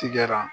Tikɛra